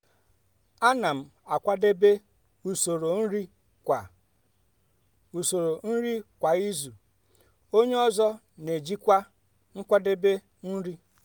ana m akwadebe usoro nri kwa usoro nri kwa izu onye ọzọ n'ejikwa nkwadebe nri.